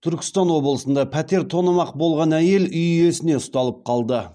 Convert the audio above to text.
түркістан облысында пәтер тонамақ болған әйел үй иесіне ұсталып қалды